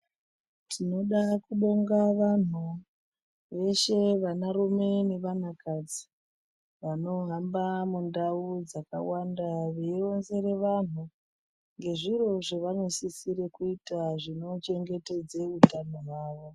Tinoda kubonga vantu, veshe vanarume nevanakadzi vanohamba mundau dzakawanda veironzera vantu ngezviro zvevanosisire kuita zvinovachengetedze utano hwavo.